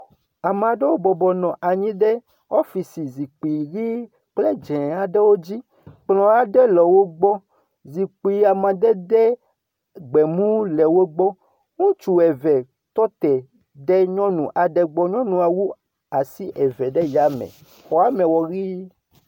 Ame aɖewo bɔbɔ nɔ anyi ɖe ofici zikpui ʋi kple dzɛ aɖewo dzi. Kplɔ aɖe le wogbɔ. Zikpui amadede gbemu le wogbɔ. Ŋutsu eve tɔ te ɖe nyɔnu aɖe gbɔ. Nyɔnua wu asi eve ɖe ya me. Xɔame wɔ ʋi.